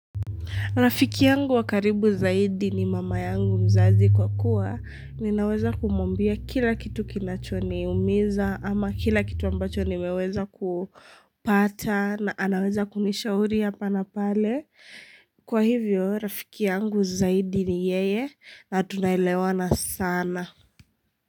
Rafiki yangu wa karibu zaidi ni mama yangu mzazi kwa kuwa ninaweza kumwambia kila kitu kinachoniumiza ama kila kitu ambacho nimeweza kupata na anaweza kunishauri hapa na pale. Kwa hivyo, Rafiki yangu zaidi ni yeye na tunaelewa na sana.